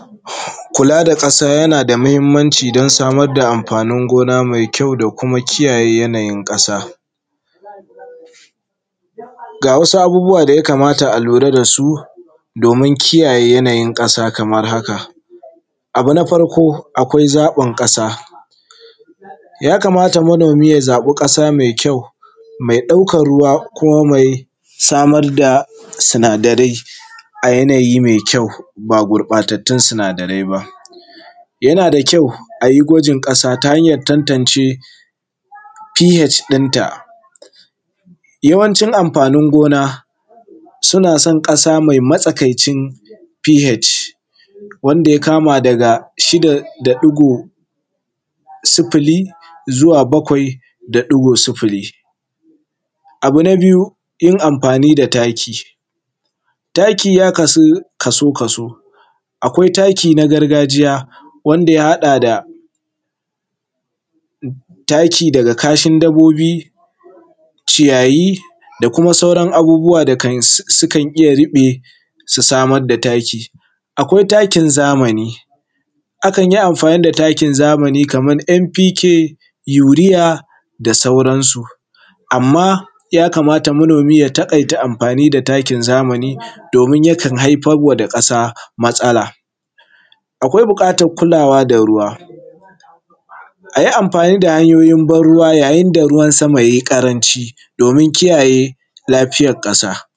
Kula da ƙasa yana da muhinmanci don samar da amfanin gona mai kyau da kuma kiyaye yanayin ƙasa. Ga wasu abubuwa da ya kamata a lura da su domin kiyaye yanayin ƙasa kamar haka. Abu na farko akwai zaɓin ƙasa, ya kamata manomi ya zaɓi ƙasa mai kyau, mai ɗaukan ruwa, ko mai samar da sinadarai a yanayin mai kyau ba gurɓatatun sinadarai ba. Yana da kyau a yi gwajin ƙasa ta hanyar tantance pH din ta yawanci amfanin gona suna son ƙasa mai matsakai cin pH wanda ya kama daga 6.0 zuwa 7.0. Abu na biyu yin amfani da taki. Taki ya kasu kaso kaso, akwai taki na gargajiya wanda ya haɗa taki daga kashin dabobi, ciyayi, da kuma sauran abubuwa da sukan iya ruɓe su samar da taki. Akwai taki zamani, akan yi amfani da taki zamani kamar NPk, yuriya da sauran su. Amma ya kamata manomi ya taƙaita amfani da takin zamani domin yakan haifarwa da ƙasa masala. Akwai buƙatan kulawa da ruwa. A yi amfani da hanyoyin ban ruwa yayin da ruwan sama ya yi ƙaranci domin kiyaye lafiyar ƙasa.